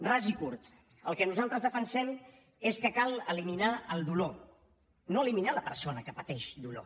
ras i curt el que nosaltres defensem és que cal eliminar el dolor no eliminar la persona que pateix dolor